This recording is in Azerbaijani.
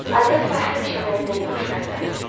Adelfa həmişə məndən yaxşı rəftar eləyir.